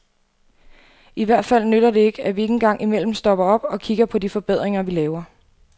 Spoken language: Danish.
I hvert fald nytter det ikke, at vi ikke engang imellem stopper op og kikker på de forbedringer, vi laver.